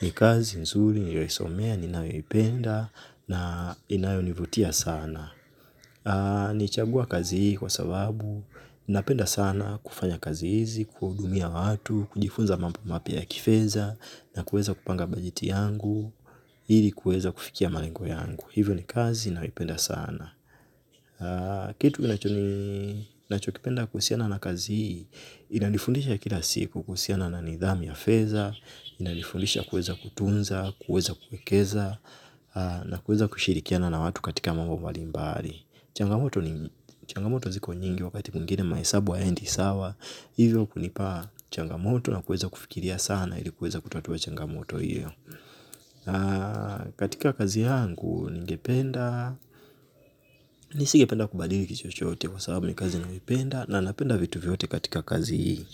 ni kazi nzuri, niliyo isomea ninayoipenda na inayonivutia sana na nilichagua kazi hii kwasababu napenda sana kufanya kazi hizi kuwaudumia watu kujifunza mambo mapya ya fedhana kuweza kupanga bajeti yangu ilikuafikia malengo yangu na ni kazi ninayo ipenda sana. Nachokipenda kuhusiana na kazi hii, inanifundisha kila siku kuhusiana na nidhamu ya fedha, inanifundisha kuweza kutunza, kueza kuekeza, na kueza kushirikiana na watu katika mambo mbali mbali. Changamoto ziko nyingi wakati mwingine mahesabu hayaendi sawa, hivyo kunipa changamoto na kueza kufikiria sana ili kueza kutatua changamoto hiyo. Katika kazi hangu ningependa nisi gependa kubalii kichochote. Kwa sababu ni kazi ninayoipenda. Na napenda vitu vyote katika kazi hii.